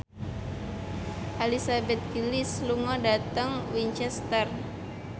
Elizabeth Gillies lunga dhateng Winchester